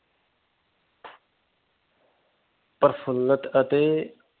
ਪ੍ਰਸੰਗਤ ਅਤੇ